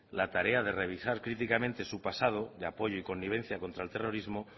la tarea de revisar críticamente su pasado de apoyo y connivencia contra el terrorismo